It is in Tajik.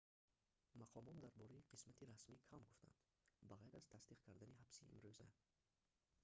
мақомот дар бораи қисмати расмӣ кам гуфтанд ба ғайр аз тасдиқ карданӣ ҳабси имруза